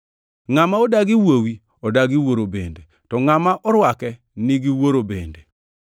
Ngʼama odagi Wuowi odagi Wuoro bende, to ngʼama orwake nigi Wuoro bende.